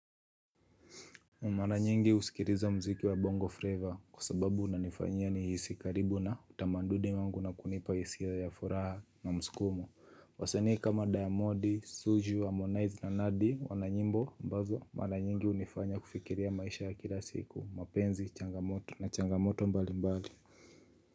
Mara nyingi husikiliza mziki wa bongo flavor kwa sababu unanifanya nihisi karibu na utamaduni wangu na kunipa hisia ya furaha na mskumo Wasania kama diamodi, zuchu, harmonize na nandi wana nyimbo ambazo mara nyingi hunifanya kufikiria maisha ya kila siku, mapenzi, changamoto na changamoto mbali mbali.